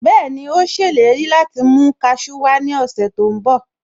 Bẹ́ẹ̀ni, Ó ṣèlérí láti mú kasú wá ní ọ̀sẹ̀ tó ń bọ̀